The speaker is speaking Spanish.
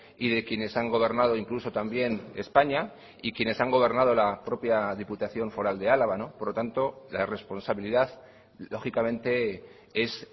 y de quienes han gobernado incluso también españa y quienes han gobernado la propia diputación foral de álava por lo tanto la responsabilidad lógicamente es